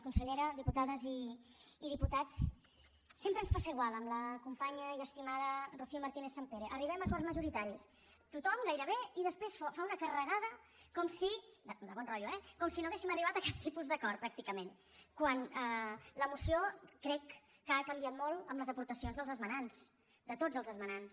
consellera diputades i di·putats sempre ens passa igual amb la companya i esti·mada rocío martínez·sampere arribem a acords ma·joritaris tothom gairebé i després fa una carregada com si de bon rotllo eh no haguéssim arribat a cap tipus d’acord pràcticament quan la moció crec que ha canviat molt amb les aportacions dels esmenants de tots els esmenants